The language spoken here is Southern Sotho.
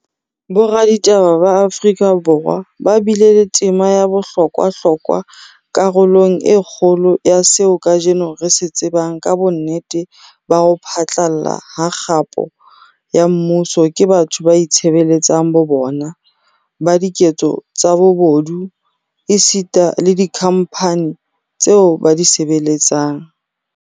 Boraditaba ba Afrika Borwa ba bile le tema ya bohlokwa hlokwa karolong e kgolo ya seo kajeno re se tsebang ka bonnete ba ho phatlalla ha kgapo ya mmuso ke batho ba itshebeletsang bo bona, ba diketso tsa bobodu, esita le dikhamphani tseo ba di sebeletsang.